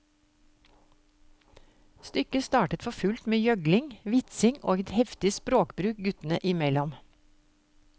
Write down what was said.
Stykket startet for fullt med gjøgling, vitsing og et heftig språkbruk guttene mellom.